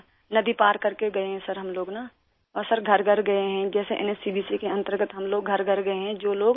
سر، ندی پار کرکے گئے ہیں ہم لوگ نا! اور سر گھر گھر گئے ہیں، جیسے N H C V C کے تحت ہم لوگ گھر گھر گئے ہیں